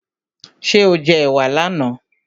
Ṣé o jẹ ẹ̀wà là na?